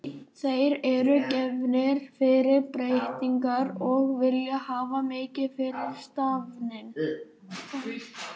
Þeir eru gefnir fyrir breytingar og vilja hafa mikið fyrir stafni.